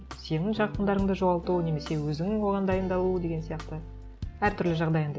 сенің жақындарыңды жоғалту немесе өзің оған дайындалу деген сияқты әртүрлі жағдай енді